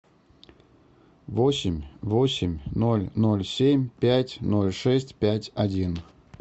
восемь восемь ноль ноль семь пять ноль шесть пять один